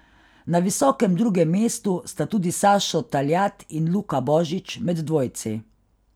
Na visokem drugem mestu sta tudi Sašo Taljat in Luka Božič med dvojci.